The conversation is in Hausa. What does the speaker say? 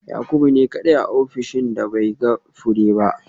Yakubu ne kadai a ofishina da bai ga fure ba